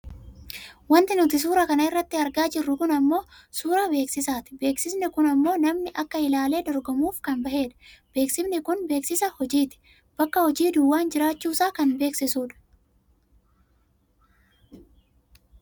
Wanti nuti suuraa kanarratti argaa jirru kun ammoo suuraa beeksisaati. Beeksisni kun ammoo namni akka ilaalee dorgomuuf kan bahedha. Beeksifni kun beeksisa hojiiti. Bakki hojii duwwaan jiraachuusaa kan beeksisu dha